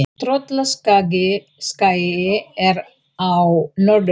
Tröllaskagi er á Norðurlandi.